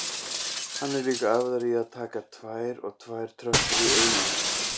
Hann er líka æfðari í að taka tvær og tvær tröppur í einu.